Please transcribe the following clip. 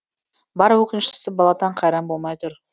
бар өкініштісі баладан қайран болмай тұр